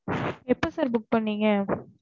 எப்ப sir book பண்ணிங்க